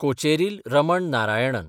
Kocheril Raman Narayanan